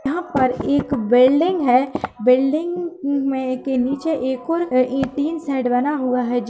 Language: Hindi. यहाँ पर एक बिल्डिंग है। बिल्डिंग मे निचे एक और इतीन सेड बना हुआ है।